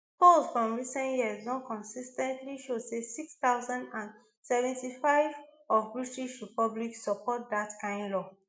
polls from recent years don consis ten tly show say six thousand and seventy-five of british public support dat kain law